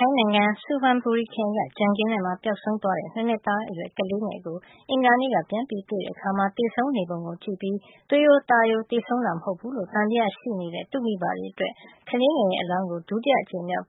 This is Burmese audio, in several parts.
ထိုင်းနိုင်ငံ ဆူဖန်ဘူရီခရိုင်က ကြံခင်းထဲမှာ ပျောက်ဆုံးသွားတဲ့ ၂ နှစ်သား ကလေးငယ်ကို အင်္ဂါနေ့က ပြန်တွေ့ခဲ့အခါမှာ သေဆုံးနေပုံကို ကြည့်ပြီး သွေးရိုးသားရိုး သေဆုံးတာမဟုတ်ဖူးလို့ သံသယရှိနေတဲ့ သူ့မိဘတွေအတွက် ကလေးငယ်ရဲ့ အလောင်းကို ဒုတိယအကြိမ်မြောက်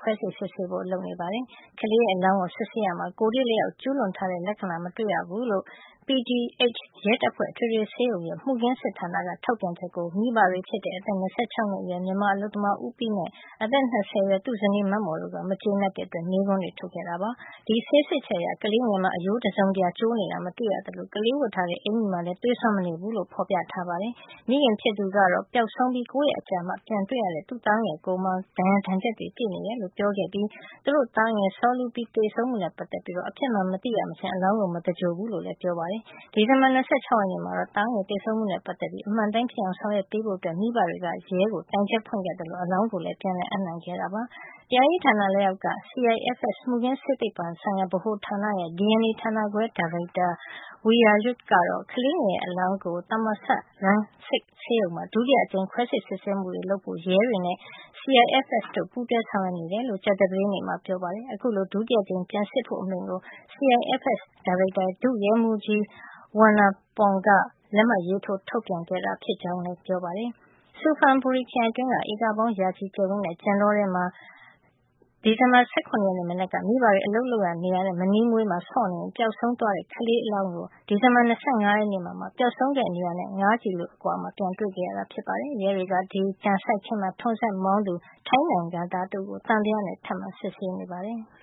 ခွဲစိတ်စစ်ဆေးဖို့ လုပ်နေပါတယ်။ ကလေးငယ်ရဲ့ အလောင်းကိုစစ်ဆေးရာမှာ ကိုယ်ထိလက်ရောက် ကျူးလွန်ထားတဲ့ လက္ခဏာ မတွေ့ရဘူးလို့ PGH ရဲတပ်ဖွဲ့ အထွေထွေဆေးရုံရဲ့ မူခင်းဆေးစစ်ဌာနက ထုတ်ပြန်ချက်ကို မိဘတွေဖြစ်တဲ့ အသက် ၂၆ နှစ်အရွယ် မြန်မာအလုပ်သမား ဦးပီးနဲ့ အသက် ၂၀ အရွယ်သူ့ဇနီးမမော် တို့က မကျေနပ်တဲ့အတွက် မေးခွန်းတွေ ထုတ်ခဲ့ပါတယ်။ ဒီဆေးစစ်ချက်အရ ကလေးငယ်မှာ အရိုးတစုံတရာကျိုးနေတာ မတွေ့ရသလို ကလေးဝတ်ထားတဲ့ အကျီမှာလည်း သွေးစွန်းမနေဘူးလို့ ဖေါ်ပြထားတာပါ။ မိခင်ဖြစ်သူကတော့ ပျောက်ဆုံးပြီး ၉ ရက်အကြာမှ ပြန်တွေ့ခဲ့ရတဲ့ သားငယ်ရဲ့ ကိုယ်မှာ ဒဏ်ရာဒဏ်ချက်တွေ ပြည့်နေတယ်လို့ ပြောကြားခဲ့ပြီး သူတို့ရဲ့ သားငယ် စောလူပီး သေဆုံးမှုနဲ့ ပတ်သက်ပြီး အဖြစ်မှန်ကို မသိရမချင်း အလောင်းကို မသဂြိုလ်ဘူးလို့လည်း ပြောပါတယ်။ ဒီဇင်ဘာလ ၂၆ ရက်နေ့မှာတော့ သားငယ်သေဆုံးမှုနဲ့ ပတ်သက်ပြီး အမှန်အတိုင်းဖြစ်အောင် ဆောင်ရွက်ပေးဖို့ မိဘတွေက ရဲကို တိုင်ချက်ဖွင့်ခဲ့သလို အလောင်းကိုလည်း ပြန်လည် အပ်နှံခဲ့တာပါ။ တရားရေးဌာန လက်အောက်က CIFS မှုခင်းဆေးသိပ္ပံပညာ ဆိုင်ရာဗဟိုဌာနရဲ့ DNA ဌာနခွဲ ဒါရိုက်တာ Worawee Waiyawut ကတော့ ကလေးငယ်ရဲ့ အလောင်းကို Thammasat Rangsit ဆေးရုံမှာ ဒုတိယအကြိမ်မြောက် ခွဲစိတ်စစ်ဆေးမှုတွေလုပ်ဖို့ ရဲတွေနဲ့ CIFS တို့ ပူးတွဲဆောင်ရွက်နေကြောင်း ကြာသပတေးနေ့မှာ ပြောပါတယ်။ ခုလို ဒုတိယအကြိမ်ပြန်စစ်ဖို့ အမိန့်ကို CIFS ဒါရိုက်တာ ဒုရဲမှုးကြီး Wannapong Khotcharak က လက်မှတ်ထိုး ထုတ်ပြန်ခဲ့တာ ဖြစ်ကြောင်းလည်း ပြောပါတယ်။ ဆူဖန်ဘူရီခရိုင် အတွင်းက ဧကပေါင်းရာနဲ့ချီ ကျယ်ဝန်းတဲ့ ကြံတောထဲမှာ ဒီဇင်ဘာလ ၁၇ ရက်မနက်က မိဘတွေ အလုပ်လုပ်ရာ နေရာနဲ့ မနီးမဝေးမှာ ဆော့ကစားနေရင် ပျောက်ဆုံးသွားခဲတဲ့ ကလေးငယ်ရဲ့ အလောင်းကို ဒီဇင်ဘာလ ၂၅ ရက်နေ့မှာ ပျောက်ဆုံးခဲ့တဲ့ နေရာနဲ့ ၅ ကီလိုမီတာ အကွာမှာ ပြန်တွေ့ခဲ့ရတာ ဖြစ်ပါတယ်။ ရဲတွေက အဲဒီ ကြံစိုက်ခင်းမှာ ထွန်စက်မောင်းသူ ထိုင်းနိုင်ငံသား တဦးကို သံသယနဲ့ ထပ်မံ စစ်ဆေးနေပါတယ်။